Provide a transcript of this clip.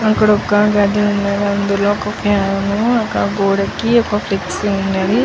హా అక్కడ ఒక గడ్డి ఉన్నది అందులో ఒక ఫ్యాను ఒక గోడకి ఒక ఫ్లేక్స్ ఉన్నది.